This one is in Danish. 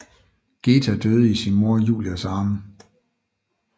Geta døde i sin mor Julias arme